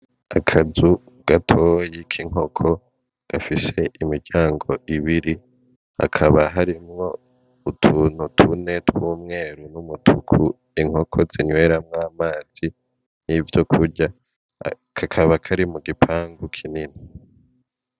Akazu gatoyi k'inkoko gafise imiryango ibiri, hakaba harimwo utuntu tune tw'umweru n'umutuku inkoko zinyweramwo amazi n'ivyokurya kakaba kari mu gipangu kinini.